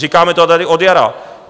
Říkáme to tady od jara.